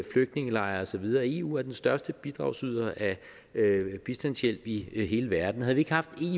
flygtningelejre og så videre eu er den største bidragsyder af bistandshjælp i hele verden havde vi ikke haft